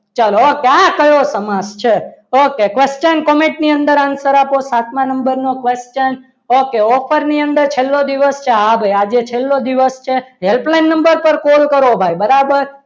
okay ચલો આ કયો સમાસ છે ઓકે question comment ની અંદર answer આપો સાતમા number નો question okay offer ની અંદર છેલ્લો દિવસ છે હા ભાઈ આજે છેલ્લો દિવસ છે helpline number પર call કરો બરાબર